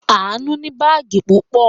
Àánú ní báágì púpọ̀.